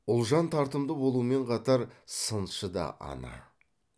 ұлжан тартымды болумен қатар сыншы да ана